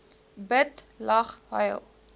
bid lag huil